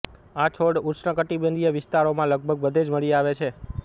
આ છોડ ઉષ્ણકટિબંધીય વિસ્તારોમાં લગભગ બધે જ મળી આવે છે